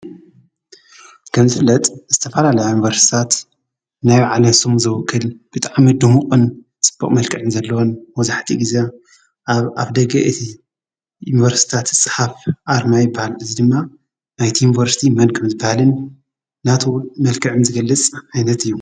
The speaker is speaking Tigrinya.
ከም ዝፍለጥ ዝተፋላለያ ዩኒቨርስቲታት ናይ ባዕለን ስም ዝውክል ብጣዕሚ ድሙቅን ፅቡቅ መልክዕ ዘለዎን መብዛሕትኡ ግዜ አብ አፍ ደገ እቲ ዩንቨርስቲታት ዝፀሓፍ አርማ ይበሃል። እዚ ድማ ናይቲ ዩኒቨርስቲ መን ከም ዝበሃልን ናቱ መልክዕን ዝገልፅ ዓይነት እዩ።